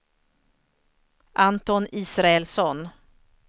Anton Israelsson